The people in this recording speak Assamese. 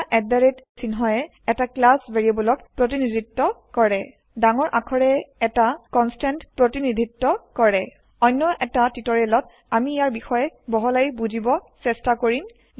দুটা চিহ্নয়ে এটা ক্লাছ ভেৰিয়েব্লক প্ৰতিনিধিত্ব কৰে ডাঙৰ আখৰে এটা কনষ্টেণ্ট প্ৰতিনিধিত্ব কৰে অন্য এটা টিওটৰিয়েলত আমি ইয়াৰ বিষয়ে বহলাই বুজিব চেষ্টা কৰিম